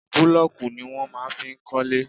Búlọ́ọ̀kù ni wọ́n máa ń fi ń kọ́lé.